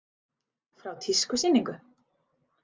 Frá tískusýningu.